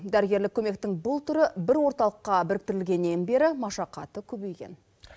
дәрігерлік көмектің бұл түрі бір орталыққа біріктірілгеннен бері машақаты көбейген